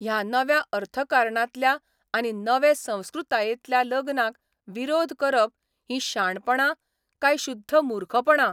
ह्या नव्या अर्थकारणांतल्या आनी नवे संस्कृतायेंतल्या लग्नांक विरोध करप हीं शाणपणां काय शुद्ध मुर्खपणां?